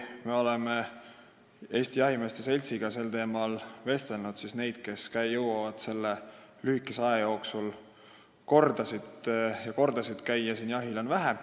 Me oleme Eesti Jahimeeste Seltsiga sel teemal vestelnud, et neid, kes jõuavad selle lühikese aja jooksul siin kordi ja kordi jahil käia, on vähe.